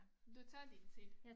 Du tager din tid